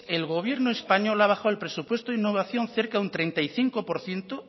el gobierno español ha bajado el presupuesto en innovación cerca de un treinta y cinco por ciento